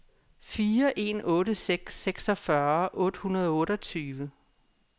fire en otte seks seksogfyrre otte hundrede og otteogtyve